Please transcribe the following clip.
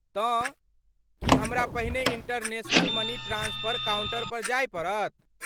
तँ, की हमरा पहिने इंटरनेशनल मनी ट्रांस्फर काउंटर पर जाय पड़त।